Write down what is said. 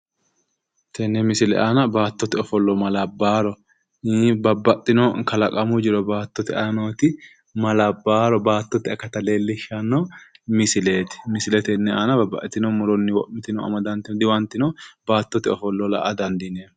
Tenne misile aana baattote ofollo maa labbaworo babbaxxino kalaqamu jiro baattote aana nooti ma labbawaro baattote akata leellishshanno misileeti, misile tenne aana babbaxitino muronni wo'mitino diwantino baattote ofollo la'a dandiineemmo